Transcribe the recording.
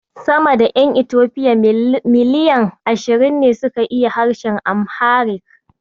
Sama da ƴan Itofiya miliyan ashirin ne suke yin harshen Amharic.